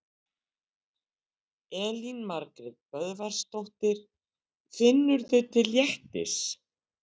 Elín Margrét Böðvarsdóttir: Finnurðu til léttis?